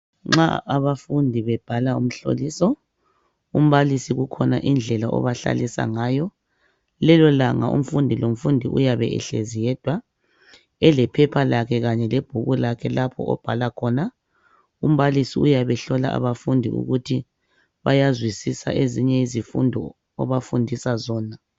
Nxa abafundi bebhala umhloliso umbalisi kukhona indlela obahlalisa ngayo lelo langa umfundi lo mfundi uyabe ehlezi yedwa elephepha lakhe kanye lebhuku lakhe lapho obhala khona umbalisi uyabe ehlola abafundi ukuthi bayazwisisa ezinye izifundo obafundisa zona.